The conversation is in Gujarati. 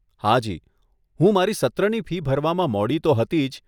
હાજી, હું મારી સત્રની ફી ભરવામાં મોડી તો હતી જ.